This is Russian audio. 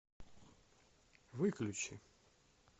выключи